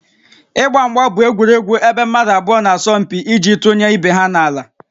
Ịgba mgba bụ egwuregwu ebe mmadụ abụọ na-asọ mpi iji tụnye ibe ha n'ala